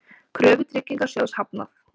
Kröfu Tryggingasjóðs hafnað